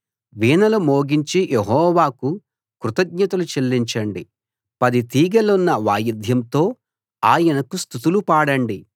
వీణలు మోగించి యెహోవాకు కృతజ్ఞతలు చెల్లించండి పది తీగెలున్న వాయిద్యంతో ఆయనకు స్తుతులు పాడండి